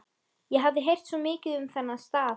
Ég hafði heyrt svo mikið um þennan stað.